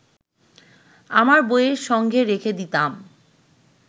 আমার বইয়ের সঙ্গে রেখে দিতাম